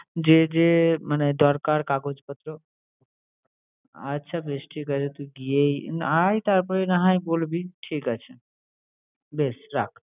যে যে মানে দরকার কাগজপত্র? আচ্ছা বেশ ঠিক আছে, তুই গিয়েই আয় তারপরে না হয় বলবি। ঠিক আছে বেশ রাখ।